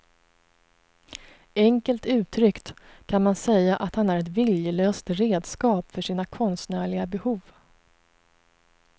Enkelt uttryckt kan man säga att han är ett viljelöst redskap för sina konstnärliga behov.